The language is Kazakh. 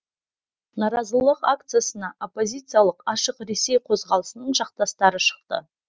наразылық акциясына оппозициялық ашық ресей қозғалысының жақтастары шықты